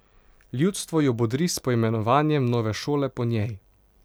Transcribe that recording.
Ljudstvo jo bodri s poimenovanjem nove šole po njej.